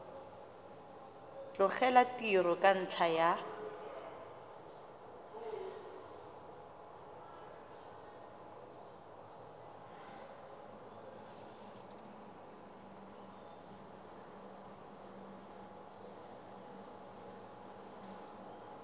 tlogela tiro ka ntlha ya